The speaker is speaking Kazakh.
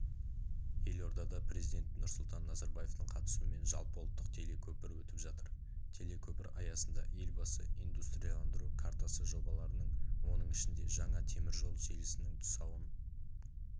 елордада президенті нұрсұлтан назарбаевтың қатысуымен жалпыұлттық телекөпір өтіп жатыр телекөпір аясында елбасы индустрияландыру картасы жобаларының оның ішінде жаңа теміржол желісінің тұсауын